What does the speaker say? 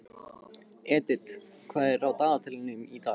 Edith, hvað er á dagatalinu í dag?